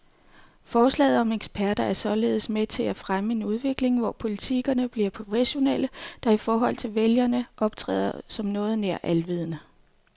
Forslaget om eksperter er således med til at fremme en udvikling, hvor politikerne bliver professionelle, der i forhold til vælgerne optræder som noget nær alvidende.